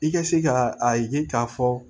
I ka se ka a ye k'a fɔ